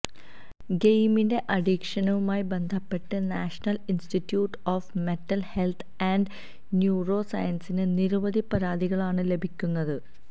ഗെയിമിന്റെ അഡിക്ഷനുമായി ബന്ധപ്പെട്ട് national institute of mental health and neuro സയൻസിന് നിരവധി പരാതികളാണ് ലഭിക്കുന്നത്